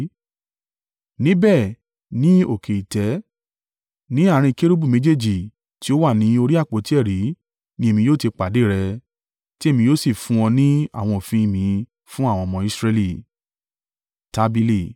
Níbẹ̀, ni òkè ìtẹ́, ní àárín kérúbù méjèèjì ti ó wà ni orí àpótí ẹ̀rí ni èmi yóò ti pàdé rẹ, ti èmi yóò sì fún ọ ní àwọn òfin mi fún àwọn ọmọ Israẹli.